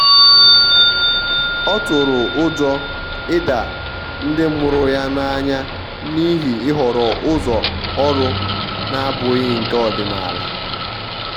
ọ tụrụ ụjọ ịda ndi mụrụ ya n'anya n'ihi ihọrọ ụzọ ọrụ na-abụghị nke ọdịnala.